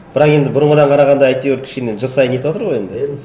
бірақ енді бұрынғыдан қарағанда әйтеуір кішкене жыл сайын нетіватыр ғой енді